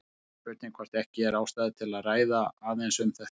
Það er spurning hvort ekki er ástæða til að ræða aðeins um þetta.